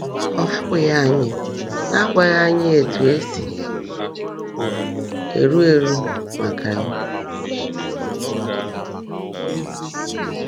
Ọ hapụghị ányị n’ágwaghị ányị ótú è sí érú érú màká yá.